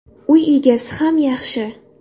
Uy egasi ham yaxshi.